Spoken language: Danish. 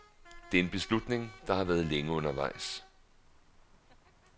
Det er en beslutning der har været længe undervejs.